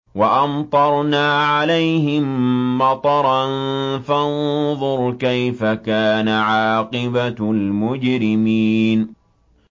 وَأَمْطَرْنَا عَلَيْهِم مَّطَرًا ۖ فَانظُرْ كَيْفَ كَانَ عَاقِبَةُ الْمُجْرِمِينَ